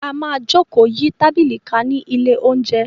A máa jókòó yí tábìlì ká ní ilé-oúnjẹ.